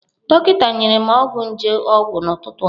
Dọkịta nyere m ọgwụ nje ọgwụ n'ụtụtụ a.